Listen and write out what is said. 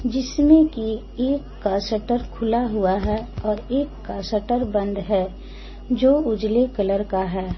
जिसमें की एक का शटर खुला हुआ है और एक का शटर बंद है जो उजाले कलर का है।